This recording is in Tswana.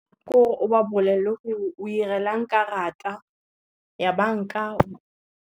Gore o ba bolelele gore o 'irelang karata, ya banka.